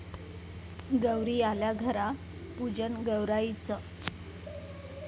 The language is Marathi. गौरी आल्या घरा, पूजन गौराईचं